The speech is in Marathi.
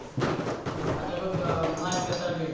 आता बघ अं मालिका चालू आहे.